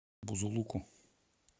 бузулуку